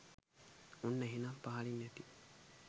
ඔන්න එහෙනම් පහලින් ඇති